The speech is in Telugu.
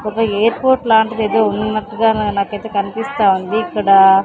ఒక ఎయిర్ పోర్ట్ లాంటిదేదో ఉన్నట్టుగా నాకైతే కనిపిస్తా ఉంది ఇక్కడా--